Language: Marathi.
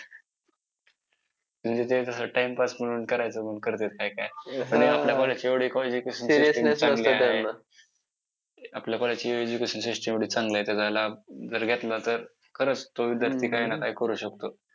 त्यांचे वडील करमचंद गांधी यांचेही त्याच वर्षी नी निधन झाले.